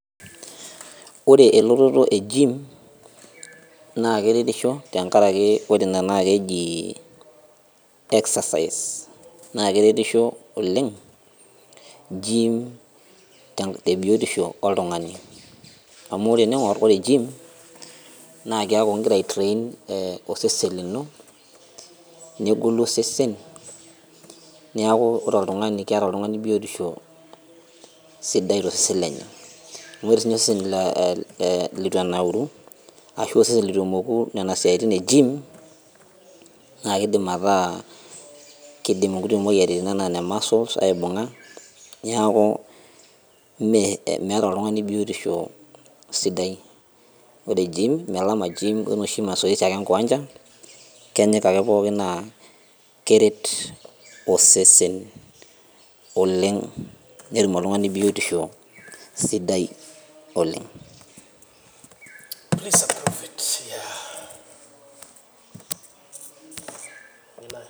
Ore elototo e gym naa keretisho tenkarake ore ina naa keji excersise naa keretisho oleng gym ten te biotisho oltung'ani amu tening'orr ore gym naa kiaku ingira ae train eh osesen lino negolu osesen niaku ore oltung'ani keeta oltung'ani biotisho sidai tosesen lenye amu ore sininye osesen le litu enauru ashu osesen letu emoku nena siaitin e gym naa kidim ataa kidim inkuti moyiaritin ana ine muscles aibung'a niaku mee meeta oltung'ani biotisho sidai ore gym melama gym wenoshi masoesi ake enkiwanja kenyika ake pookin naa keret osesen oleng netum oltung'ani biotisho sidai oleng.